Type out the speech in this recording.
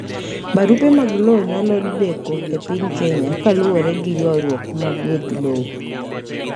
Brupe mag lowo nyalodeko epiny Kenya kaluwore giyuaruok mag weg lowo.